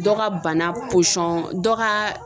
Dɔ ka bana dɔ ka